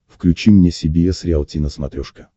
включи мне си би эс риалти на смотрешке